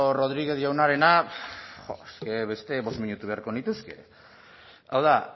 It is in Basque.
rodriguez jaunarena jo es que beste bost minutu beharko nituzke hau da